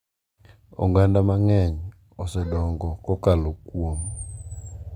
Oganda mang’eny osedongo kokalo kuom,